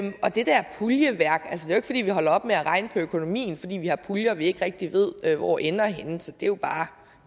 vi jo ikke holder op med at regne på økonomien fordi vi har puljer som vi ikke rigtig ved ved hvor ender henne så det er